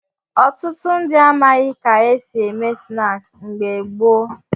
Ọtụtụ ndị amaghị ka e si eme snaakị mgbe gboo.